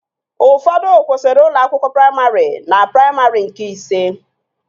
Ụfọdụ kwụsịrị ụlọ akwụkwọ praimarị na praimarị nke ise